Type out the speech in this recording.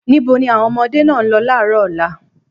Níbo ni àwọn ọmọdé náà ń lọ láàárọ̀ ọ̀la?